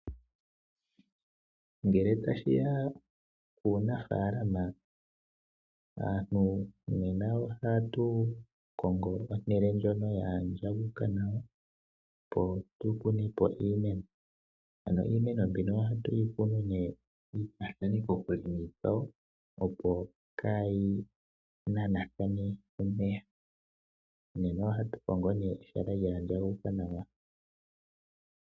Ngele tashi ya kuunafaalama, aantu nena otatu kongo ehala ndyono lyaandjuka nawa opo tu kune po iimeno. Ano iimeno mbino ohatu yi kunu nee, yi lyaathane kokule niikwawo, opo kaa yi nanathane omeya. Nena ohatu kongo nee ehala lyaandjuka nawa.